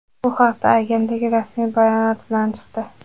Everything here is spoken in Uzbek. Bu haqda agentlik rasmiy bayonot bilan chiqdi.